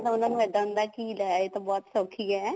ਉਹਨਾ ਨੂੰ ਇੱਦਾਂ ਹੁੰਦਾ ਲੈ ਇਹ ਤਾਂ ਬਹੁਤ ਸੋਖੀ ਹੈ